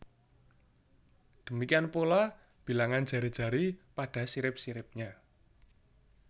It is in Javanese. Demikian pula bilangan jari jari pada sirip siripnya